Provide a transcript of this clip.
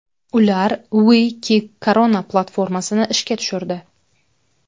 Ular We Kick Corona platformasini ishga tushirdi.